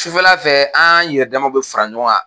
Sufɛla fɛ an yɛrɛ damaw bɛ fara ɲɔgɔn kan